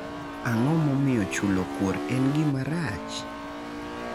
Ang'o momiyo chulo kuor en gima rach?